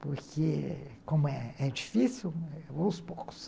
Porque, como é difícil, aos poucos.